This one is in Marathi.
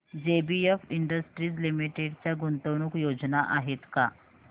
जेबीएफ इंडस्ट्रीज लिमिटेड च्या गुंतवणूक योजना आहेत का